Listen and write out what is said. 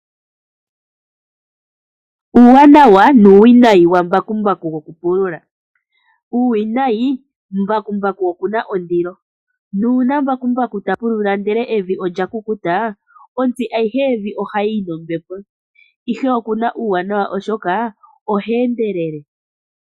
Uuwanawa nuuwinayi wambakumbaku gwokupulula Uuwinayi: mbakumbaku okuna ondilo, nuuna mbakumbaku ta pulula ndele evi olya kukuta ontsi ayihe yevi ohayi yi nombepo, ihe okuna uuwanawa oshoka oha endelele.